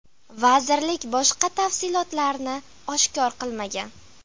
Vazirlik boshqa tafsilotlarni oshkor qilmagan.